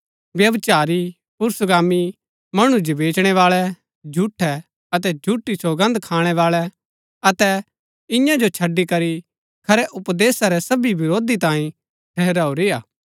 व्यभिचारी पुरूषगामी मणु जो बेचणै बाळै झूठै अतै झूठी सौगन्द खाणैबाळै अतै इआं जो छड़ी करी खरै उपदेशा रै सबी विरोधी तांई ठहराऊरी हा